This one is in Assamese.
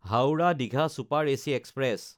হাওৰা–দীঘা চুপাৰ এচি এক্সপ্ৰেছ